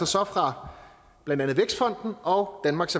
så fra blandt andet vækstfonden og danmarks